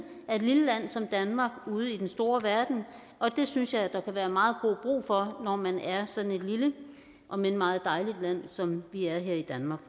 af et lille land som danmark ude i den store verden og det synes jeg der kan være meget god brug for når man er sådan et lille om end meget dejligt land som vi er her i danmark